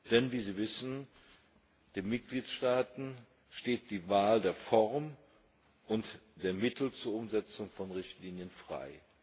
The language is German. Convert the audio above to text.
Denn, wie Sie wissen, den Mitgliedstaaten steht die Wahl der Form und der Mittel zur Umsetzung von Richtlinien frei.